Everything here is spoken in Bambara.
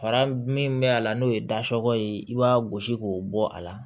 Fara min bɛ a la n'o ye dasiwa ye i b'a gosi k'o bɔ a la